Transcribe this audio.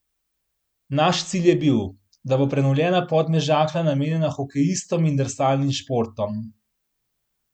Naš cilj je bil, da bo prenovljena Podmežakla namenjena hokejistom in drsalnim športom.